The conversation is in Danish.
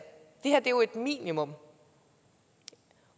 det her er jo et minimum